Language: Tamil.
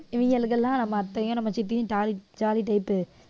இவங்களுக்கு எல்லாம் நம்ம அத்தையும் நம்ம சித்தியும் jolly type பு